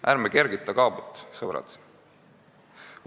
Ärme kergita kaabut, sõbrad!